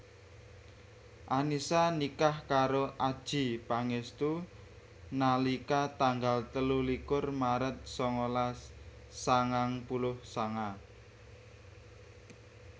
Annisa nikah karo Adjie Pangestu nalika tanggal telu likur Maret sangalas sangang puluh sanga